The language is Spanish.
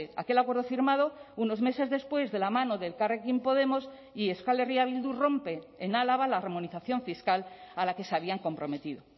aquel acuerdo firmado unos meses después de la mano de elkarrekin podemos y euskal herria bildu rompe en álava la armonización fiscal a la que se habían comprometido